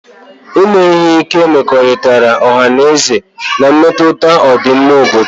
Ime ihe ike mmekọrịta ọha na eze na-emetụta ọdịmma obodo